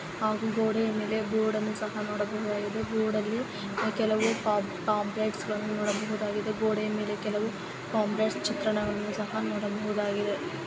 ಹಾಗು ಗೋಡೆಯಾ ಮೇಲೆ ಬೋರ್ಡ್ ಅನ್ನೂ ಸಹ ನೋಡಬಹುದುದಾಗಿದೆ. ಬೋರ್ಡ್ ಅಲ್ಲಿ ಕೆಲವು ಪಂ--ಪೊಂಪ್ಲೇಟ್ಸ್ ಗಳನ್ನು ನೋಡಬಹುದುದಾಗಿದೆ. ಗೋಡೆಯಾ ಮೇಲೆ ಕೆಲವು ಪೊಂಪ್ಲೇಟ್ಸ್ ಚಿತ್ರಣವನ್ನು ಸಹ ನೋಡಬಹುದಾಗಿದೆ.